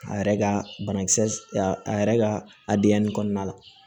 A yɛrɛ ka banakisɛ a yɛrɛ ka a diya nin kɔnɔna la